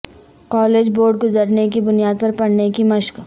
college board گزرنے کی بنیاد پر پڑھنے کی مشق